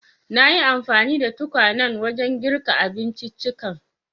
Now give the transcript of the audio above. Nayi anfani da tukwanen wajen girka abinciccikan.